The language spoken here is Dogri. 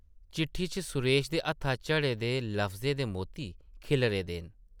चिट्ठी च सुरेश दे हत्था झड़े दे लफ्जें दे मोती खिल्लरे दे न ।